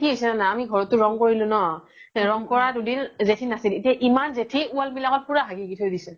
কি হৈছে যানা আমি ঘৰত তো ৰনং কৰিলো ন ৰনং কৰা দুদিন জেথি নাচিল এতিয়া ইমান জেথি wall বিলাকত পুৰা হাগি হাগি থই দিছে